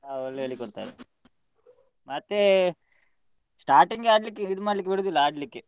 ಹಾ ಒಳ್ಳೆ ಹೇಳಿ ಕೊಡ್ತಾರೆ ಮತ್ತೇ starting ಆಡ್ಲಿಕ್ಕೆ ಇದು ಮಾಡ್ಲಿಕ್ಕೆ ಬಿಡುದಿಲ್ಲ ಆಡ್ಲಿಕ್ಕೆ.